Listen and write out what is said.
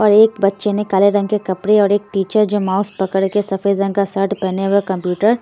और एक बच्चे ने काले रंग के कपड़े और एक टीचर जो माउस पकड़ के सफेद रंग का शर्ट पहने व कंप्यूटर--